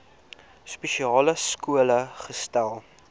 spesiale skole gesetel